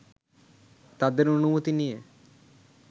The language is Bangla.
তাঁদের অনুমতি নিয়ে